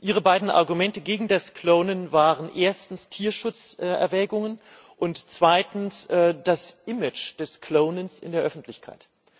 Ihre beiden Argumente gegen das Klonen waren erstens Tierschutzerwägungen und zweitens das Image des Klonens in der Öffentlichkeit.